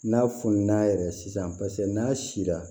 N'a fununna yɛrɛ sisan paseke n'a sera